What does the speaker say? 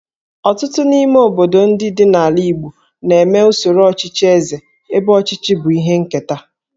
Ọtụtụ n'ime obodo ndị dị n'ala Igbo na-eme usoro ọchịchị Eze ebe ọchịchị bụ ihe nketa